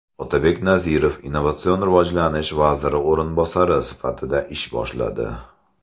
Otabek Nazirov Innovatsion rivojlanish vaziri o‘rinbosari sifatida ish boshladi.